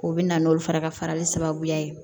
O bɛ na n'olu fana ka farali sababuya ye